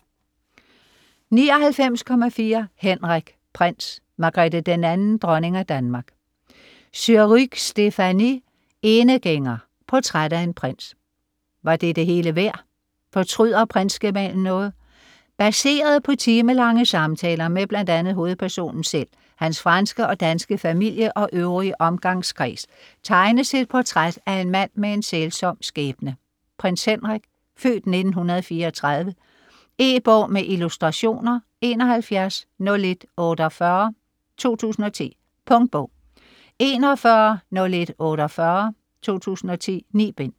99.4 Henrik: prins, Margrethe II, dronning af Danmark Surrugue, Stéphanie: Enegænger: portræt af en prins Var det det hele værd? Fortryder prinsgemalen noget? Baseret på timelange samtaler med bl.a. hovedpersonen selv, hans franske og danske familie og øvrige omgangskreds, tegnes et portræt af en mand med en sælsom skæbne, Prins Henrik (f. 1934). E-bog med illustrationer 710148 2010. Punktbog 410148 2010. 9 bind.